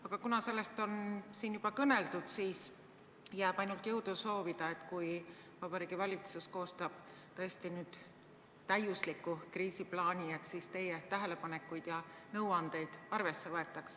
Aga kuna sellest on siin juba kõneldud, siis jääb ainult jõudu soovida, et kui Vabariigi Valitsus nüüd tõesti koostab täiusliku kriisiplaani, siis teie tähelepanekuid ja nõuandeid arvesse võetaks.